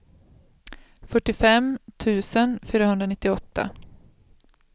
fyrtiofem tusen fyrahundranittioåtta